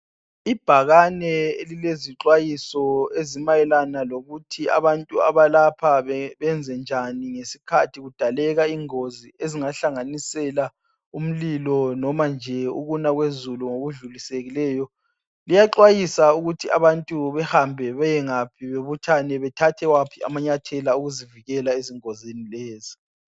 Ibhakane elilezixwayiso ezimayelana lokuthi abantu abalapha benze njani ngesikhathi kudaleka ingozi ezingahlanganisela umlilo noma nje ukuna kwezulu okudlulisekileyo. Kuyaxwayiswa ukuthi abantu behambe bayengaphi bebuthane bathathe waphi amanyathelo okuzivikela engozini lezi.